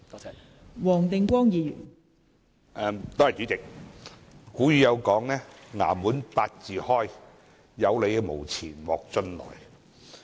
代理主席，古語有云"衙門八字開，有理無錢莫進來"。